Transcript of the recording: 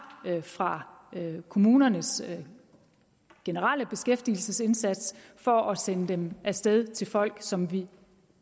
fra kommunernes generelle beskæftigelsesindsats for at sende penge af sted til folk som vi